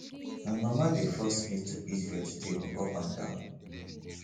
my mama dey force me to eat vegetable up and down